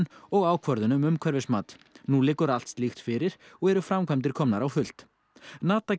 og ákvörðun um umhverfismat nú liggur allt slíkt fyrir og eru framkvæmdir komar á fullt